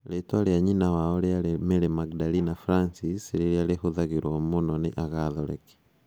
Rĩtwa rĩa nyina wao rĩarĩ Mary Magdalena Francis, rĩrĩa rĩhũthagĩrwo mũno nĩ agatholeki.